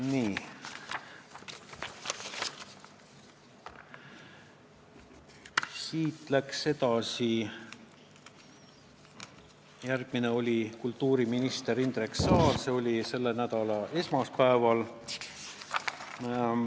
Nii, edasi: järgmine oli kultuuriminister Indrek Saar, kes oli komisjonis selle nädala esmaspäeval.